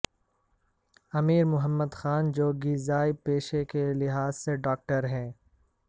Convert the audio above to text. امیر محمد خان جوگیزئی پیشے کے لحاظ سے ڈاکٹر ہیں